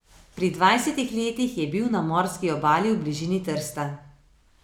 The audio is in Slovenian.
Pri dvajsetih letih je bil na morski obali v bližini Trsta.